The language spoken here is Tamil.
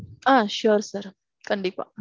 ஆ sure sir கண்டிப்பா.